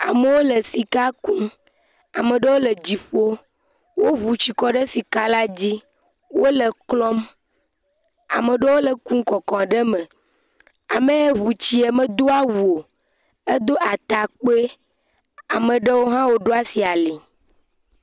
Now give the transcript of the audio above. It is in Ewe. Amewo le sika kum. Amewo le dziƒoo. Woŋu tsi kɔ ɖe sikala dzi. Wole eklɔm. Ama ɖewo kum kɔkɔ ɖe me. Ame yɛ ŋu tsie medo awu o. Edo atakpoe. Ame ɖewo hã woɖo asi ali.